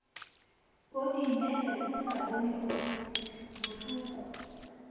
kodimele o sa bone bohloko